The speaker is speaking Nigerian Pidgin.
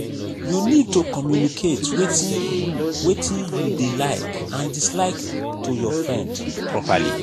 you need to communicate wetin you wetin you dey like and dislike to your friend properly